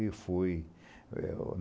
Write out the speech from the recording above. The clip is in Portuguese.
E fui. É o